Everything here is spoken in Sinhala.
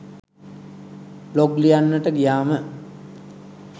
බ්ලොග් ලියන්ට ගියාම